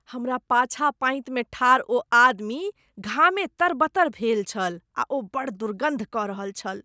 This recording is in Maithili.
हमरा पाछाँ पाँति मे ठाढ़ ओ आदमी घामे तरबतर भेल छल आ ओ बड़ दुर्गन्ध कऽ रहल छल।